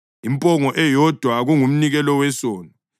impongo eyodwa kungumnikelo wesono;